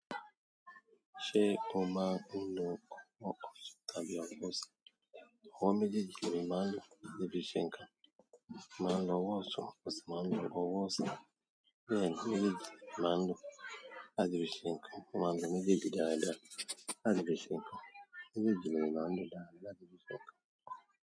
Ṣé o máa ń lo ọwọ́ tàbí ọwọ́ sí? Ọwọ méjèèjì ní mo máa ń lo ni bí i ṣe ńkan. Máa ń lo ọwọ́ ọtun, mó sì máa ń lo ọwọ́ osi. Bẹ́ẹ̀ ni mejeji ni mo maa n lo láti fi ṣe nkan. Máa ń lo méjèèjì dáadáa, láti fi ṣe ńkàn. Méjì ni maa n lo dáadáa, láti fi ṣe ńkàn.